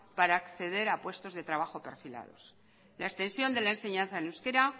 para acceder a puestos de trabajos perfilados la extensión de la enseñanza en euskara